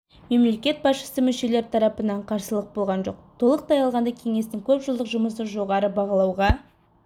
мемлекет басшысы мүшелері тарапынан қарсылық болған жоқ толықтай алғанда кеңестің көпжылдық жұмысы жоғары бағалауға